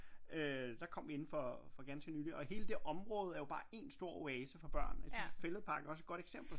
Øh der kom vi inden for for ganske nylig og hele det område er jo bare en stor oase for børn jeg synes Fælledparken er også et godt eksempel